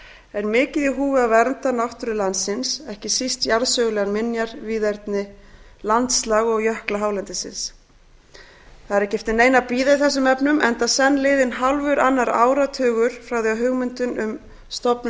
er mikið í húfi að vernda náttúru landsins ekki síst jarðsögulegar minjar víðerni landslag og jökla hálendisins það er ekki eftir neinu að bíða í þessum efnum enda senn liðinn hálfur annar áratugur frá því að hugmyndin að stofnun